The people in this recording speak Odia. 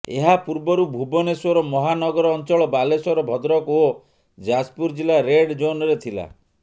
ଏହାପୂର୍ବରୁ ଭୁବନେଶ୍ୱର ମହାନଗର ଅଞ୍ଚଳ ବାଲେଶ୍ୱର ଭଦ୍ରକ ଓ ଯାଜପୁର ଜିଲ୍ଲା ରେଡ୍ ଜୋନରେ ଥିଲା